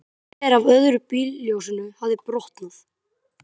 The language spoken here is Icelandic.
Gler af öðru bílljósinu hafði brotnað.